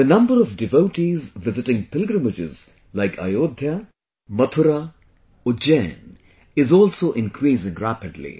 The number of devotees visiting pilgrimages like Ayodhya, Mathura, Ujjain is also increasing rapidly